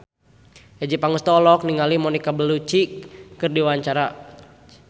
Adjie Pangestu olohok ningali Monica Belluci keur diwawancara